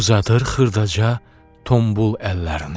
Uzadır xırdaca, tombul əllərini.